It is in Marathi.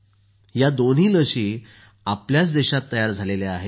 या दोन्ही लस याच देशात तयार झाल्या आहेत